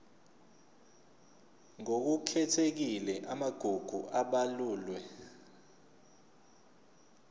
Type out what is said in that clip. ngokukhethekile amagugu abalulwe